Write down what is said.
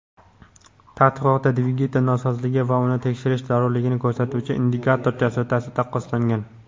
Tadqiqotda dvigatel nosozligi va uni tekshirish zarurligini ko‘rsatuvchi indikator chastotasi taqqoslangan.